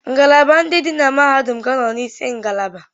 Ngalaba ndị dị na mahadum ga na-anọ n'isi ngalaba.